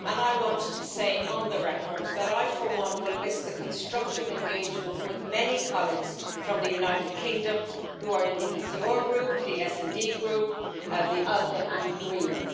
I want to say on the record that I, for one, will miss the constructive engagement with many colleagues from the United Kingdom, who are in the ECR Group, the SD Group, the ALDE Group and the Greens.